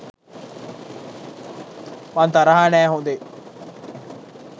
මං තරහා නෑ හොදේ